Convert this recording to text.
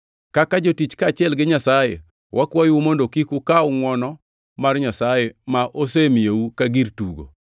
Kaka Jotich kaachiel gi Nyasaye wakwayou mondo kik ukaw ngʼwono mar Nyasaye ma osemiyou ka gir tugo.